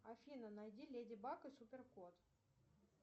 афина найди леди баг и супер кот